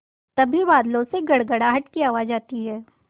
तभी बादलों से गड़गड़ाहट की आवाज़ आती है